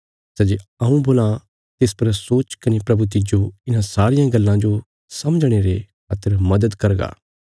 सै जे हऊँ बोलां तिस पर सोच कने प्रभु तिज्जो इन्हां सारियां गल्लां जो समझणे रे खातर मदद करगा